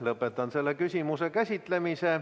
Lõpetan selle küsimuse käsitlemise.